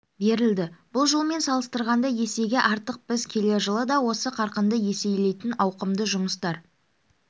берілді бұл жылмен салыстырғанда есеге артық біз келер жылы да осы қарқынды еселейтін ауқымды жұмыстар